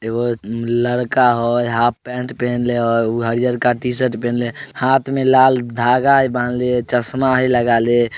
एगो लड़का हई हाफ पैंट पहिनले हाई हरिहर का टीशर्ट पहनले हुए हाथ में लाल धागा बांधले हई चश्मा ही लगा ले ।